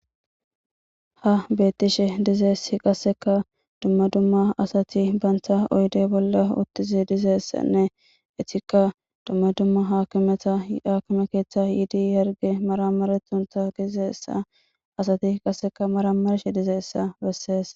ha beettishe dizeessi qasseka dumma dumma asati bantha oyde bolla uttizi dizeessanne etikka dumma dumma hakimeta hakime keeththa yiidi yerge maramaretunta gizeessa asati qasseka maramarshe dize essa bessees